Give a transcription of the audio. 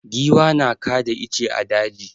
Giwa na kada ice a daji.